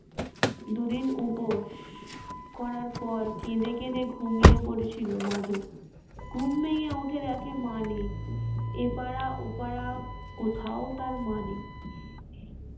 দুদিন উপোস করার পর কেঁদে কেঁদে ঘুমিয়ে পড়েছিল মাধব ঘুম ভেঙ্গে উঠে দেখে মা নেই এপারা ওপারা কোথাও তার মা নেই